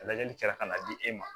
Lajɛlikɛla ka na di e ma